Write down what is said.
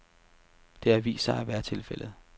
Det har vist sig at være tilfældet.